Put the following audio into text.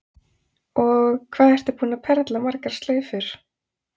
Og hvað ertu búin að perla margar slaufur?